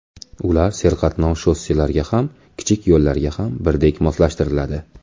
Ular serqatnov shosselarga ham, kichik yo‘llarga ham birdek moslashtiriladi.